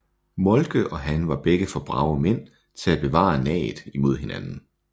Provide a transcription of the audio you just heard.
Moltke og han var begge for brave mænd til at bevare naget imod hinanden